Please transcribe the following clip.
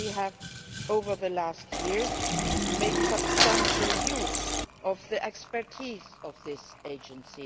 We have, over the last years, made substantial use of the expertise of this Agency.